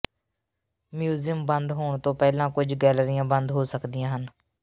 museum ਬੰਦ ਹੋਣ ਤੋਂ ਪਹਿਲਾਂ ਕੁਝ ਗੈਲਰੀਆਂ ਬੰਦ ਹੋ ਸਕਦੀਆਂ ਹਨ